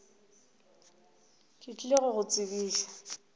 ke tlile go go tsebiša